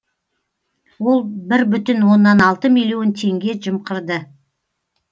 ол бір бүтін оннан алты миллион теңге жымқырды